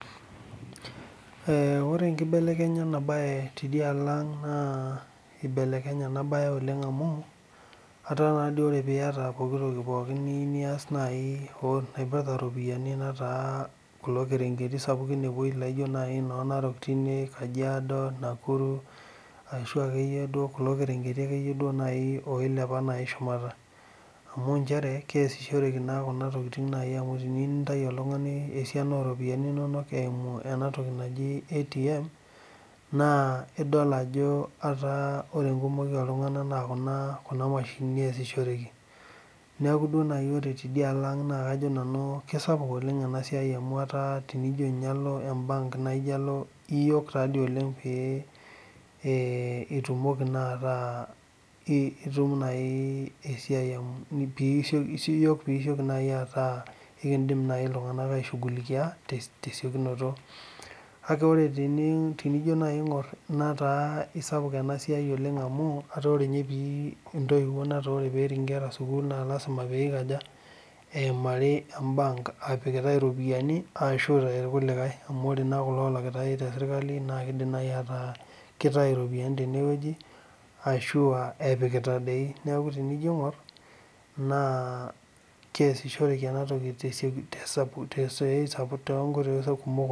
Ore enkibelekenyata enabae tidialo aang na ibelekenye enabae oleng amuataa teniata pooki toki niyieu nias na naitaa kulo kerengeti sapukin anaa no narok epuoikajiado ,nakuru ashu akeyie kulo kerengeti akeyie nai oilepa nai shumata amu keasishoreki kuna tokitin teniyieu nintau oltungani esiana oropiyiani eimu enatoki naji atam nidol ajo ore enkumoi oltunganak na kuna mashinini easishoreki neaku ore tidialo aamg na kesapuk esiai amu iyook naa oleng pitumoki ataa ikidil nai ltunganak aishuhulikia tesiokinoto kake enijo aingor netaa isapuk enasia oleng amu ore petii nkera sukul na lasima peimari apik iropiyiani ashu ore na kulo olakitae teserklai neaku tenijo aingur keasishoreki enatoki tnkoitoi sapuk oleng